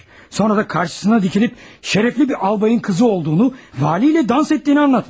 Sonra da qarşısında dayanıb şərəfli bir albayın qızı olduğunu, vali ilə rəqs etdiyini danışmış.